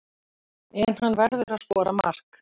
En hann verður að skora mark.